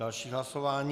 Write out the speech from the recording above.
Další hlasování.